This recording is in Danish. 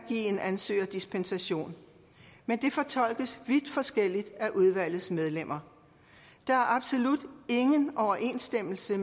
en ansøger dispensation men det fortolkes vidt forskelligt af udvalgets medlemmer der er absolut ingen overensstemmelse i